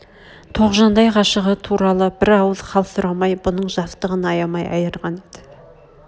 тоғжандай ғашығы туралы бір ауыз хал сұрамай бұның жастығын аямай айырғаны еді